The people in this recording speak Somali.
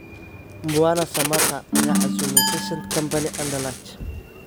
Mbwana Samatta ayaa casuumay Vincent Kompany's Anderlecht